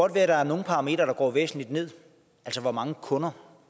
at der er nogle parametre der går væsentligt ned altså hvor mange kunder